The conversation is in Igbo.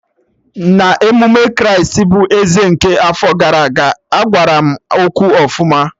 Na emume Kraịst bụ Eze nke afọ gara aga, agbaram egwu ọfụma